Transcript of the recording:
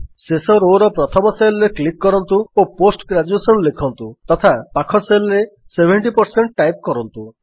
ଶେଷ Rowର ପ୍ରଥମ Cellରେ କ୍ଲିକ୍ କରନ୍ତୁ ଓ ପୋଷ୍ଟ ଗ୍ରେଜୁଏସନ୍ ଲେଖନ୍ତୁ ତଥା ପାଖ Cellରେ 70 ଟାଇପ୍ କରନ୍ତୁ